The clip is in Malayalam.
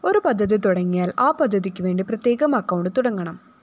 ഒരു പദ്ധതി തുടങ്ങിയാല്‍ ആ പദ്ധതിക്കുവേണ്ടി പ്രത്യേകം അക്കൌണ്ട്‌ തുടങ്ങണം